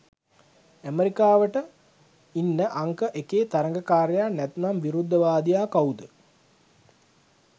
ඇමරිකාවට ඉන්න අංක එකේ තරගකාරයා නැතිනම් විරුද්ධවාදියා කවුද?